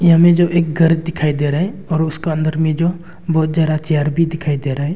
हमें जो एक घर दिखाई दे रहा है उसके अंदर में जो बहुत जरा चेयर भी दिखाई दे रहा है।